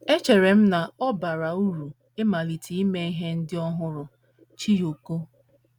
“ Echere m na ọ bara uru ịmalite ime ihe ndị ọhụrụ. ” Chiyoko